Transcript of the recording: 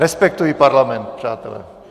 Respektuji parlament, přátelé.